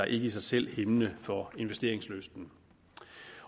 i sig selv hæmmende for investeringslysten